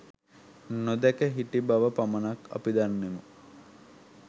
නොදැන හිටි බව පමණක් අපි දන්නෙමු